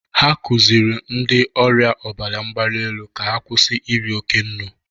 Ha kụzịrị ndị ọrịa ọbara mgbali elu ka ha kwụsị iri oke nnụ.